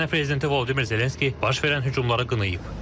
Ukrayna prezidenti Vladimir Zelenski baş verən hücumları qınayıb.